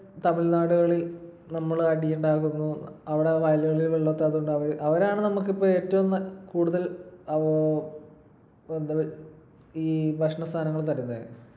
തമിഴ്‌നാടുകളിൽ നമ്മൾ അടിയുണ്ടാക്കുന്നു. അവിടെ വയലുകളിൽ അവരാണ് നമുക്കിപ്പൊ ഏറ്റവും കൂടുതൽ ഈ ഭക്ഷണസാധനങ്ങൾ തരുന്നെ.